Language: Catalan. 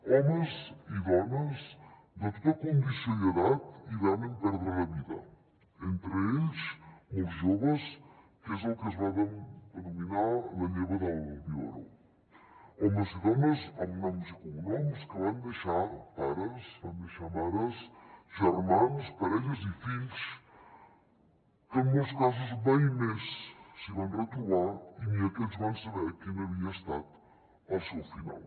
homes i dones de tota condició i edat hi van perdre la vida entre ells molts joves que és el que es va denominar la lleva del biberó homes i dones amb noms i cognoms que van deixar pares van deixar mares germans parelles i fills que en molts casos mai més s’hi van retrobar i ni aquests van saber quin havia estat el seu final